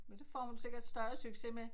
Men det får hun sikkert større success med